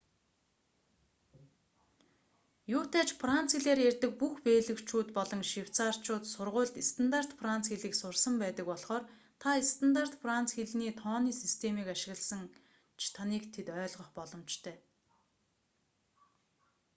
юутай ч франц хэлээр ярьдаг бүх бельгичүүд болон швейцарьчууд сургуульд стандарт франц хэлийг сурсан байдаг болхоор та стандарт франц хэлний тооны системийг ашигласан ч таныг тэд ойлгох боломжтой